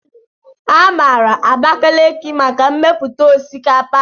A maara Abakalaki maka mmepụta osikapa.